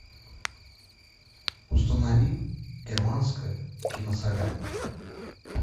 установи германская киносолянка